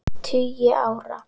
tugi ára.